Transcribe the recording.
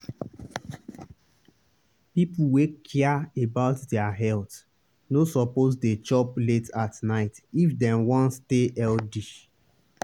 people wey care about their health no suppose dey chop late at night if dem wan stay healthy.